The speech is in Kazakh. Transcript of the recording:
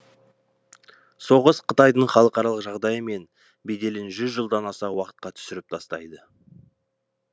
соғыс қытайдың халықаралық жағдайы мен беделін жүз жылдан аса уақытқа түсіріп тастайды